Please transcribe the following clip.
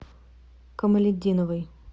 камалетдиновой